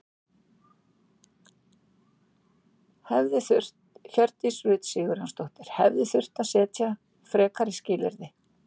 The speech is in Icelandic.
Hjördís Rut Sigurjónsdóttir: Hefði þurft að setja frekari skilyrði?